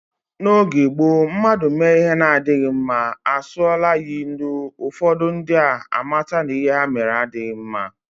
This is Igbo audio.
N'oge gboo mmadụ mee ihe na-adịghi mma, a sụọla ya ilu, ụfọdụ ndị a mata na ihe ha mere adịghị mma.